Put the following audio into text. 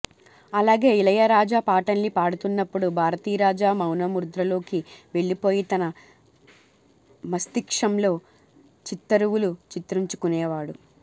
అలాగే ఇలయరాజా పాటల్ని పాడుతున్నప్పుడు భారతీరాజా మౌనముద్రలోకి వెళ్ళిపోయి తన మస్తిష్కంలో చిత్తరువులు చిత్రించుకునేవాడు